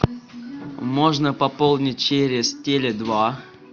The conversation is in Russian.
можно пополнить через теле два